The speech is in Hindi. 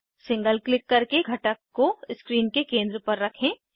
सिंगल क्लिक करके घटक को स्क्रीन के केंद्र पर रखें